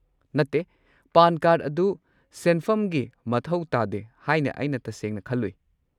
ꯅꯠꯇꯦ, PAN card ꯑꯗꯨ ꯁꯦꯟꯐꯝꯒꯤ ꯃꯊꯧ ꯇꯥꯗꯦ ꯍꯥꯏꯅ ꯑꯩꯅ ꯇꯁꯦꯡꯅ ꯈꯜꯂꯨꯏ꯫